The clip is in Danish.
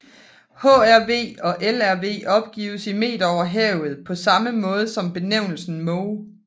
HRV og LRV opgives i meter over havet på samme måde som benævnelsen moh